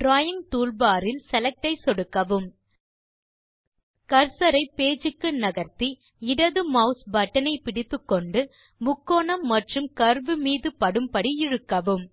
drawing toolbar இல் select ஐ சொடுக்கவும் கர்சர் ஐ பேஜ் க்கு நகர்த்தி இடது மாஸ் பட்டன் ஐ பிடித்துக்கொண்டு முக்கோணம் மற்றும் கர்வ் மீது படும்படி இழுக்கவும்